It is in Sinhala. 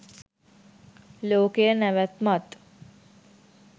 ලෝකයේ නැවැත්මත්